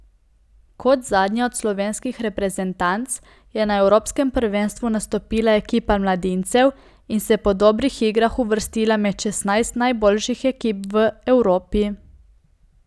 Kot zadnja od slovenskih reprezentanc je na evropskem prvenstvu nastopila ekipa mladincev in se po dobrih igrah uvrstila med šestnajst najboljših ekip v Evropi.